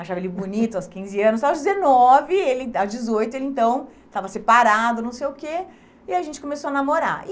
Achava ele bonito aos quinze anos, aos dezenove ele, aos dezoito ele então estava separado, não sei o quê, e aí a gente começou a namorar.